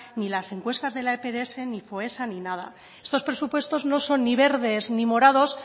ni las encuestas de la epds ni foessa ni nada estos presupuestos no son ni verdes ni morados